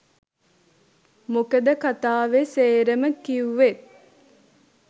මොකද කතාවේ සේරම කිවුවෙත්